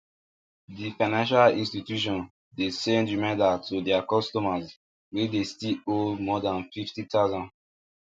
d financial institution de send reminder to their customers wey de still owe more than fifty thousand